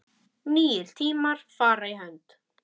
Nýir tímar fara í hönd